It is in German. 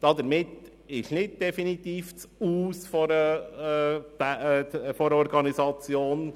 Damit ist nicht definitiv das Aus der Organisation